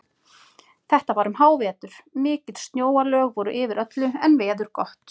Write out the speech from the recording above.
Þetta var um hávetur, mikil snjóalög voru yfir öllu en veður gott.